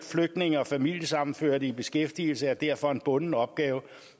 flygtninge og familiesammenførte i beskæftigelse er derfor en bunden opgave